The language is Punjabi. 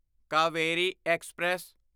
ਕਾਵੇਰੀ ਐਕਸਪ੍ਰੈਸ